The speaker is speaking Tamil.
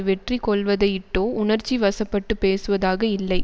வெற்றி கொள்வதையிட்டோ உணர்ச்சி வசப்பட்டுப் பேசுவதாக இல்லை